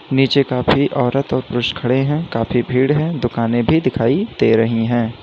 नीचे काफी औरत और पुरुष खड़े हैं काफी भीड़ है दुकाने भी दिखाई दे रही है।